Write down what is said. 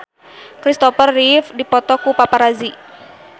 Kristopher Reeve dipoto ku paparazi